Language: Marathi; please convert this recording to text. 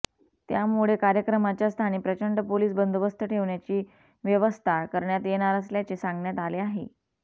त्यामुळे कार्यक्रमाच्या स्थानी प्रचंड पोलीस बंदोबस्त ठेवण्याची व्यवस्था करण्यात येणार असल्याचे सांगण्यात आले आहे